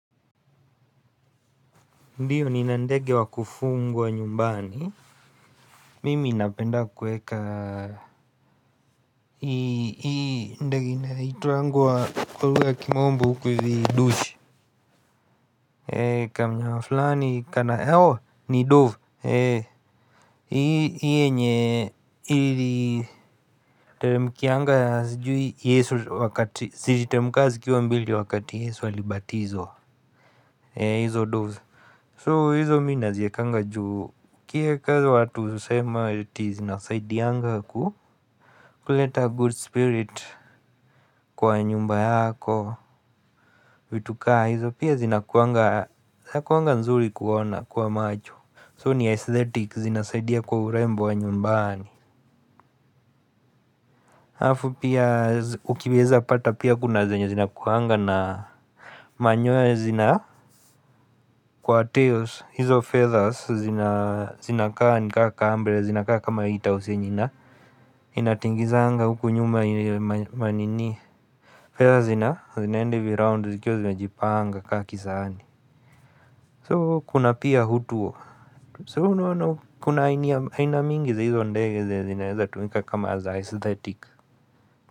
Ndiyo nina ndege wa kufugwa nyumbani, mimi ninapenda kuweka hii ndege na inaitwangwa kwa lugha ya kimombo huku hivi dushi ee kamnyama fulani kana oooh ni dove. Ee hii yenye iliteremkianga sijui Yesu wakati, ziliteremka zikiwa mbili wakati Yesu alibatizwa. Ee hizo doves. So hizo mimi naziwekanga juu ukieka huizo watu husema ati zinasaidianga ku kuleta good spirit kwa nyumba yako vitu kaa hizo pia zinakuanga zinakuanga nzuri kuona kwa macho. So ni aesthetics zinasaidia kwa urembo wa nyumbani halafu pia ukiweza pata pia kuna zenye zina kuanga na manyoya zina kwa tails. Hizo feathers zinakaa nikaa mbele zinakaa kama hiyo tausi yenye ina inatingizanga huku nyuma ma nini feathers zinaenda hivi round zikiwa zimejipanga kama kisahani. So kuna pia hutu unoano kuna aina mingi za hizo ndege zenye zinaweza tumika kama za aesthetic.